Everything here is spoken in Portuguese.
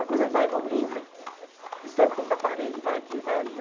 A coisa vai evoluindo, de tanto pintar parede, vai aqui, vai ali.